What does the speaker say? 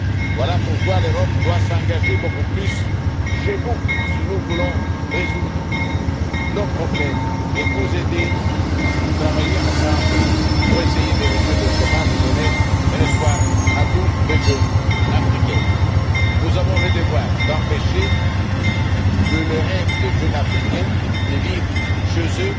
Voilà pourquoi l'Europe doit s'engager beaucoup plus chez vous si nous voulons résoudre nos problèmes et vous aider, en travaillant ensemble pour essayer de réduire le chômage et donner un espoir à tous les jeunes Africains. Nous avons le devoir d'empêcher que le rêve des jeunes Africains de vivre chez eux